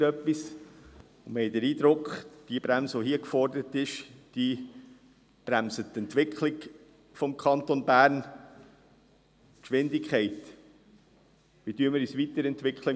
Wir haben den Eindruck, dass die hier geforderte Bremse die Entwicklung des Kantons Bern bremst und die Geschwindigkeit, wie wir uns im Kanton Bern weiterentwickeln.